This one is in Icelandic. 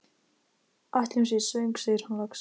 Ætli hún sé svöng? segir hann loks.